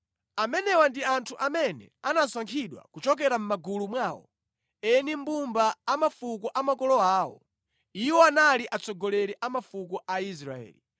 Amenewa ndi anthu amene anasankhidwa kuchokera mʼmagulu mwawo, eni mbumba a mafuko a makolo awo. Iwowa anali atsogoleri a mafuko a Israeli.